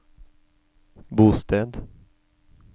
bosted